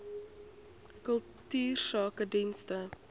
kultuursakedienste